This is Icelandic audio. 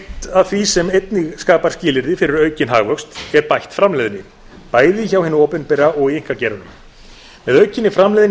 af því sem einnig skapar skilyrði fyrir aukinn hagvöxt er bætt framleiðni bæði hjá hinu opinbera og í einkageiranum með aukinni framleiðni í